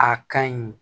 A ka ɲi